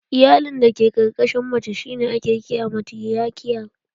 Iyalin da ke ƙarƙashin mace shi ne ake kira matiriarkial